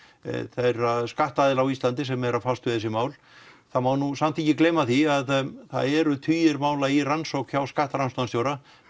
þeirra skattaaðila á Íslandi sem eru að fara með þessi mál það má nú samt ekki gleyma því að það eru tugir mála í rannsókn hjá skattrannsóknarstjóra